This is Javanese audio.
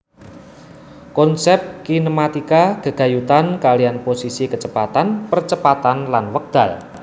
Konsep kinematika gegayutan kaliyan posisi kecepatan percepatan lan wekdal